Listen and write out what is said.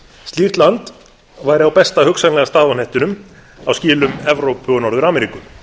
slíkt land væri á besta hugsanlega stað á hnettinum á skilum evrópu og norður ameríku